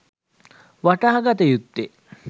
වටහාගත යුත්තේ